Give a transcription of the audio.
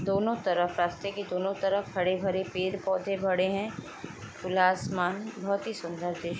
दोनो तरफ़ रास्ते के दोनो तरफ़ हरे -भरे पेड़ पौधे भडे है खुला आसमान बहुत ही सुन्दर दृश्य है।